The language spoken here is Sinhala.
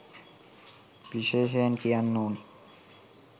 විශේෂයෙන් කියන්න ඕනෙ